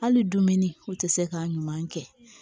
Hali dumuni o tɛ se ka ɲuman kɛ